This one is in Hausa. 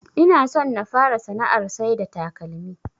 Inason na fara sana'ar saida takalmi